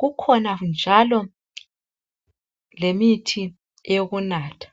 Kukhona njalo lemithi yokunatha.